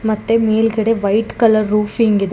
ಮತ್ತೆ ಮೇಲ್ಗಡೆ white colour roofing ಇದೆ.